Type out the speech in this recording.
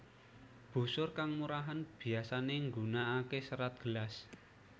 Busur kang murahan biyasane nggunakake serat gelas